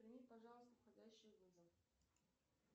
прими пожалуйста входящий вызов